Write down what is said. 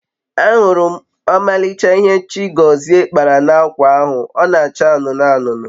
afuru m omalicha ihe Chigozie kpara na akwa ahu, o n'acha anunu anunu